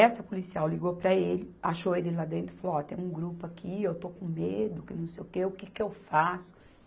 Essa policial ligou para ele, achou ele lá dentro e falou, ó, tem um grupo aqui, eu estou com medo, que não sei o quê, o que que eu faço?